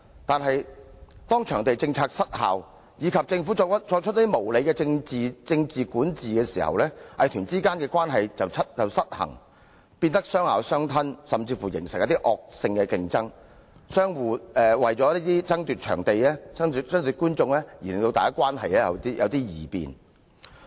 但是，當場地政策失效及政府作出無理的政治管治時，藝團之間的關係便出現失衡，亦變得相咬相吞，甚至形成惡性競爭，為了爭奪場地和觀眾而關係出現異變。